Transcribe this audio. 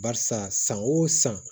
Barisa san o san